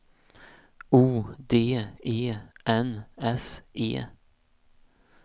O D E N S E